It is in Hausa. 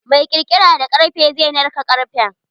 Mai kirkira da karfe zai narka karfen.